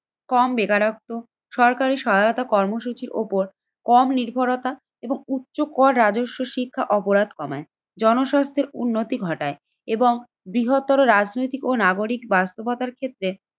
কম বেকারত্ব সরকারি সহায়তা কর্মসূচি ওপর কম নির্ভরতা এবং উচ্চকর রাজস্ব শিক্ষা অপরাধ কমায়। জনস্বাস্থ্যের উন্নতি ঘটায় এবং বৃহত্তর রাজনৈতিক ও নাগরিক বাস্তবতার ক্ষেত্রে